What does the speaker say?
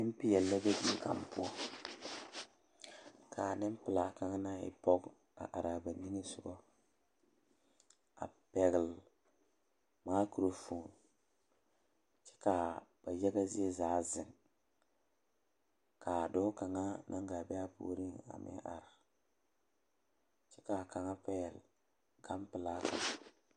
Nempeɛle la be die kaŋ poɔ k,a nempelaa kaŋ naŋ e pɔge a are a ba niŋe sogɔ a pɛgle makurofoni kyɛ ka ba yaga zie zaa zeŋ ka dɔɔ kaŋa naŋ gaa be a puoriŋ are kyɛ ka kaŋa pɛgle ganpelaa kaŋ.